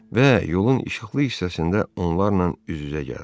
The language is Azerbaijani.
Və yolun işıqlı hissəsində onlarla üz-üzə gəldi.